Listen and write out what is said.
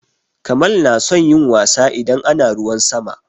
Kamal na son yin wasa idan ana ruwan sama.